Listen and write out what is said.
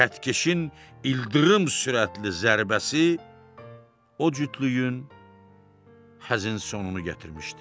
Xəttkeşin ildırım sürətli zərbəsi o cütlüyün həzin sonunu gətirmişdi.